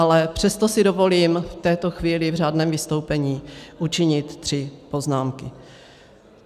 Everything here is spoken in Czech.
Ale přesto si dovolím v této chvíli v řádném vystoupení učinit tři poznámky.